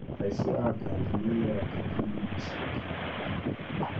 Aici a ngari maiyaga ngari na magaciendia rĩngĩ